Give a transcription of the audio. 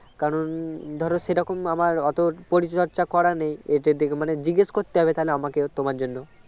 কারণ ধরো সেরকম আমার অতো পরিচর্চা করা নেই . জিজ্ঞেস করতে হবে তাহলে আমাকে তোমার জন্য